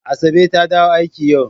Asabe ta dawo aiki yau.